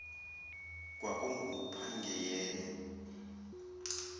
kwakungupangiyeli